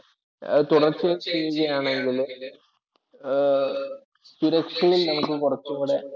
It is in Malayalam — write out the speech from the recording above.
തുടർച്ചയായി ചെയ്യുവാണെങ്കില് സുരക്ഷയിൽ നമുക്ക് കുറച്ചു കൂടെ